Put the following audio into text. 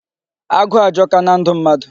Agụụ ajọka na ndụ mmadụ.